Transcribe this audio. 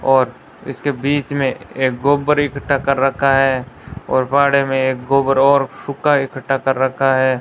और इसके बीच में एक गोबर इकट्ठा कर रखा है और बाड़े में एक गोबर और सूखा इकट्ठा कर रखा है।